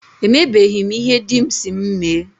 E mebeghi m ihe dị m si m mee.